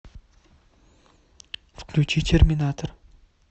включи терминатор